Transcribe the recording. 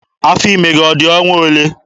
Afọ ime gị ọ dị ọnwa olee?